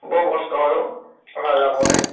বৰ কষ্ট হয় অʼ অহা যোৱা কৰোতে ।